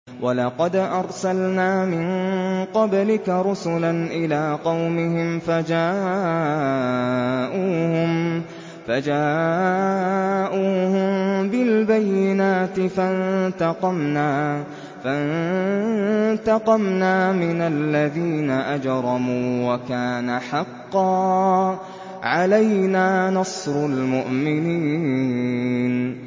وَلَقَدْ أَرْسَلْنَا مِن قَبْلِكَ رُسُلًا إِلَىٰ قَوْمِهِمْ فَجَاءُوهُم بِالْبَيِّنَاتِ فَانتَقَمْنَا مِنَ الَّذِينَ أَجْرَمُوا ۖ وَكَانَ حَقًّا عَلَيْنَا نَصْرُ الْمُؤْمِنِينَ